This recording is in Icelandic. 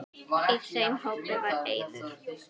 Í þeim hópi var Eiður.